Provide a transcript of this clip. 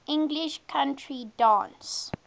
english country dance